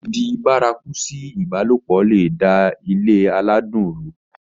dídi bárakú sí ìbálòpọ̀ le è da ilé aládùn rú